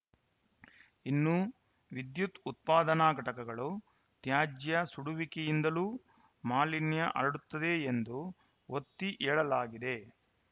ಇನ್ನು ವಿದ್ಯುತ್‌ ಉತ್ಪಾದನಾ ಘಟಕಗಳು ತ್ಯಾಜ್ಯ ಸುಡುವಿಕೆಯಿಂದಲೂ ಮಾಲಿನ್ಯ ಹರಡುತ್ತದೆ ಎಂದು ಒತ್ತಿ ಹೇಳಲಾಗಿದೆ